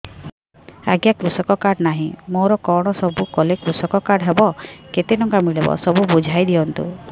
ଆଜ୍ଞା କୃଷକ କାର୍ଡ ନାହିଁ ମୋର କଣ ସବୁ କଲେ କୃଷକ କାର୍ଡ ହବ କେତେ ଟଙ୍କା ମିଳିବ ସବୁ ବୁଝାଇଦିଅନ୍ତୁ